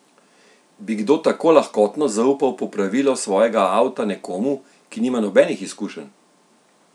Bi kdo tako lahkotno zaupal popravilo svojega avto nekomu, ki nima nobenih izkušenj?